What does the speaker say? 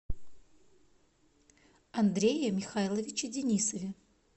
андрее михайловиче денисове